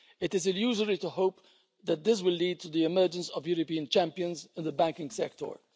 It is illusory to hope that this will lead to the emergence of European champions in the banking sector.